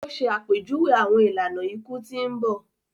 O ṣe àpèjúwe awọn ìlànà iku tí n bọ